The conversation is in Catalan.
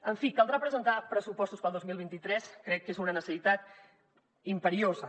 en fi caldrà presentar pressupostos per al dos mil vint tres crec que és una necessitat imperiosa